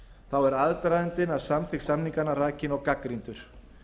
þá er aðdragandinn að samþykkt samninganna rakinn og gagnrýndur